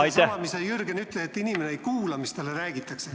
Seesama, mis Jürgen ütles, et inimene ei kuula, mis talle räägitakse.